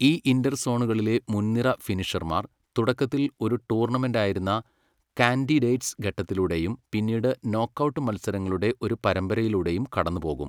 ഈ ഇന്റർ സോണലുകളിലെ മുൻനിര ഫിനിഷർമാർ തുടക്കത്തിൽ ഒരു ടൂർണമെന്റായിരുന്ന 'കാൻഡിഡേറ്റ്സ്' ഘട്ടത്തിലൂടെയും പിന്നീട് നോക്ക്ഔട്ട് മത്സരങ്ങളുടെ ഒരു പരമ്പരയിലൂടെയും കടന്നുപോകും.